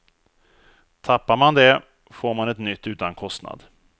Tappar man det, får man ett nytt utan kostnad.